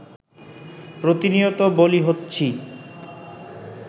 প্রতিনিয়ত বলি হচ্ছি